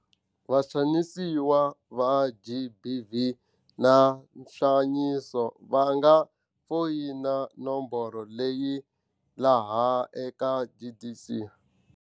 Vaxanisiwa va GBV na nxaniso va nga foyina nomboro leyi eka CGE.